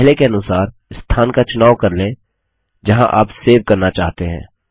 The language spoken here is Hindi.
पहले के अनुसार स्थान का चुनाव कर लेंजहाँ आप सेव करना चाहते हैं